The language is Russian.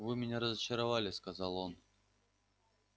вы меня разочаровали сказал он